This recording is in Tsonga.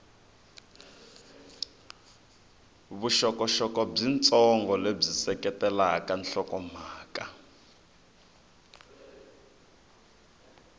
vuxokoxoko byitsongo lebyi seketela nhlokomhaka